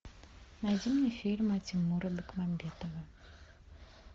найди мне фильмы тимура бекмамбетова